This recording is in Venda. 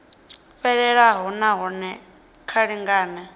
fhelelaho na hone vha lingane